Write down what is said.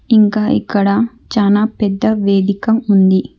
ఇంకా ఇక్కడ చానా పెద్ద వేదిక ఉంది.